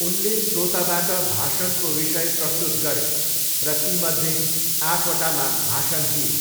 उनले श्रोताबाट भाषणको विषय प्रस्तुत गरे र तीमध्ये आठवटामा भाषण दिए।